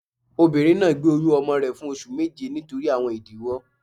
Obìnrin náà gbé oyún ọmọ rẹ fun oṣù méje nítorí àwọn ìdíwó